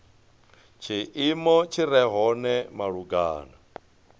tshiimo tshi re hone malugana